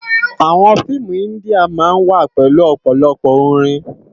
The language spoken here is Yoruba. Àwòn fiimú indiá má n wá pèlú òpòlòpò órin